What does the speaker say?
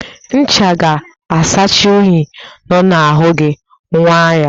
Ncha ga-asachasị unyi nọ n'ahụ gi, nwaa ya